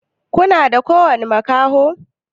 kuna da ƙowani makaho?